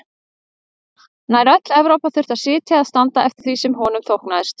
Nær öll Evrópa þurfti að sitja eða standa eftir því sem honum þóknaðist.